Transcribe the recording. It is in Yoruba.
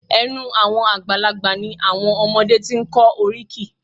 Ẹ̀nu àwọn àgbàlagbà ni àwọn ọmọdé ti ń kọ́ oríkì